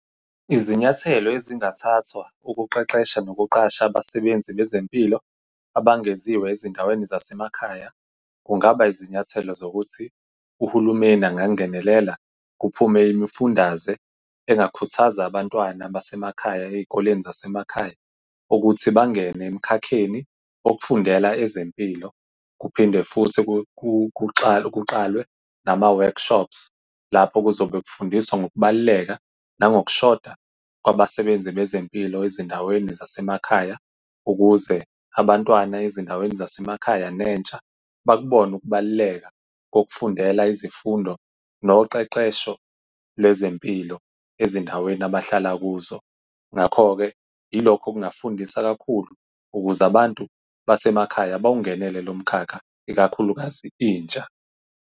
Izinyathelo ezingathathwa ukuqeqesha nokuqasha abasebenzi bezempilo abangeziwe ezindaweni zasemakhaya, kungaba izinyathelo zokuthi uhulumeni angangenelela, kuphume imifundaze engakhuthaza abantwana basemakhaya ey'koleni zasemakhaya, ukuthi bangene emkhakheni wokufundela ezempilo. Kuphinde futhi kuqalwe nama-workshops, lapho kuzobe kufundiswa ngokubaluleka nangokushoda kwabasebenzi bezempilo ezindaweni zasemakhaya, ukuze abantwana ezindaweni zasemakhaya nentsha bakubone ukubaluleka kokufundela izifundo noqeqesho lwezempilo ezindaweni abahlala kuzo. Ngakho-ke yilokho okungafundisa kakhulu ukuze abantu basemakhaya bawungenele lo mkhakha, ikakhulukazi intsha.